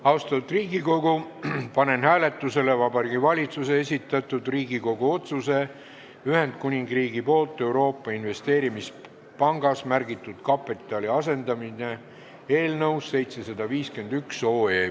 Austatud Riigikogu, panen hääletusele Vabariigi Valitsuse esitatud Riigikogu otsuse "Ühendkuningriigi poolt Euroopa Investeerimispangas märgitud kapitali asendamine" eelnõu 751.